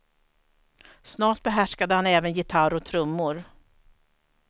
Snart behärskade han även gitarr och trummor.